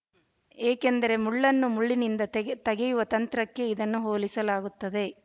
ಏಕೆಂದರೆ ಮುಳ್ಳನ್ನು ಮುಳ್ಳಿನಿಂದ ತಗೆಯುವ ತಂತ್ರಕ್ಕೆ ಇದನ್ನು ಹೋಲಿಸಲಾಗುತ್ತದೆ